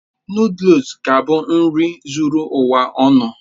Nụ́dúls es ga-abụ nri zuru ụwa ọnụ